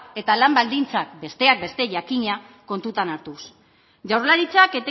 eta lan baldintzak besteak beste jakina kontutan hartuz jaurlaritzak